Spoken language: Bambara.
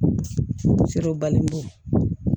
Serew bali bolo